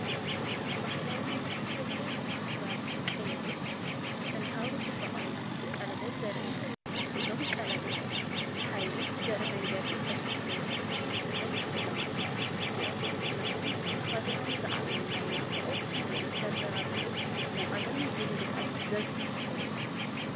ባህላዊ ናይ ኢትዮጵያ ኣስራዚ ቀለቤት ጥንታዊ ጽባቐ ናይቲ ቀለቤት ዘርኢ እዩ። እዞም ቀለቤት ሓይሊ ብዘርኢ መንገዲ ዝተሰርሑ እዮም። እዞም ስልማት እዚኣቶም ነቶም ተኸዲኖም ዝዓበዩ ናይ ናፍቖት ስምዒት ዘበራብሩን ናይ ቀደም ልምድታትን ልምድታትን ዘዘኻኽሩን እዮም።